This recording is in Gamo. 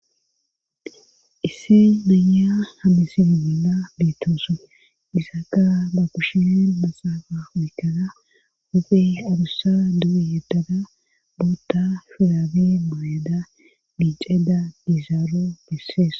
issi naya hamisimi mina biittoosan isaka ba kushinen maxaafa mikana uphe abussa du7e yettada bootta shuraabi mayada micayda diizaaro bessees